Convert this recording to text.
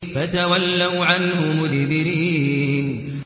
فَتَوَلَّوْا عَنْهُ مُدْبِرِينَ